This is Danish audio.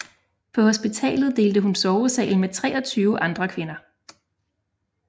På hospitalet delte hun sovesal med 23 andre kvinder